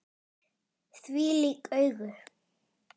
Þvílík augu!